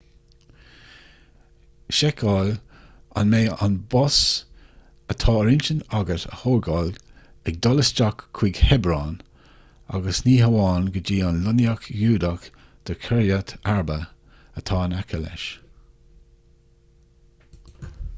seiceáil an mbeidh an bus atá ar intinn agat a thógáil ag dul isteach chuig hebron agus ní hamháin go dtí an lonnaíocht ghiúdach de kiryat arba atá in aice leis